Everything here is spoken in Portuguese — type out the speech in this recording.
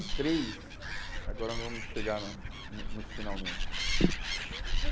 e três, agora vamos chegar no nos finalmentes. Deixa eu